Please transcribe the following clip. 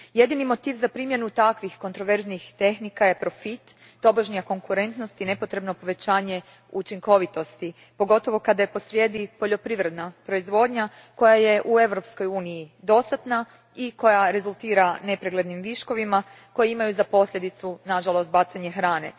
Jedini motiv za primjenu takvih kontroverznih tehnika je profit, tobožnja konkurentnost i nepotrebno povećanje učinkovitosti, pogotovo kada je posrijedi poljoprivredna proizvodnja koja je u Eurospkoj uniji dostatna i koja rezultira nepreglednim viškovima koji imaju za posljedicu, nažalost, bacanje hrane.